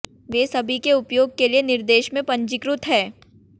वे सभी के उपयोग के लिए निर्देश में पंजीकृत हैं